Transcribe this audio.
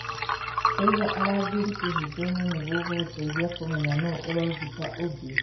kũiga arangĩri kĩhingo-inĩ nĩgũgũteithia kũmenya no ũrogita ũngĩ.